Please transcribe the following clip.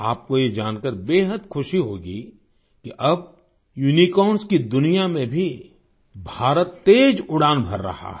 आपको ये जानकार बेहद ख़ुशी होगी कि अब यूनिकॉर्न्स की दुनिया में भी भारत तेज उड़ान भर रहा है